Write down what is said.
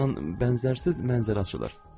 Ordan bənzərsiz mənzərə açılır.